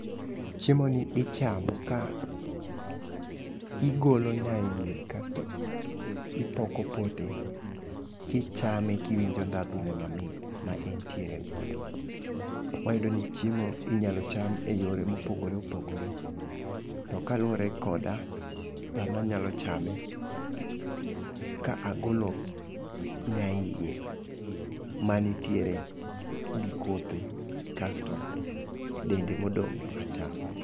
Chiemo ni ichamo ka igolo nya iye kasto ipoko pote kichame kiwinjo ndhandhu ne mamit ma entiere godo, wayudo ni chiemo inyalo cham e yore mopogore opogore to kaluwore koda an anyalo chame ka agolo nya iye mantiere gi kothe kasto dende modong' no achamo